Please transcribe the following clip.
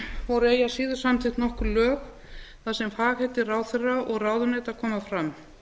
voru eigi að síður samþykkt nokkur lög þar sem fagheiti ráðherra og ráðuneyta koma fram